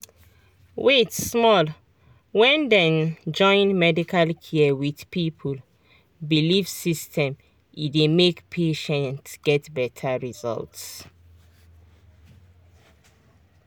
wait small — when dem join medical care with people belief system e dey make patient get better result.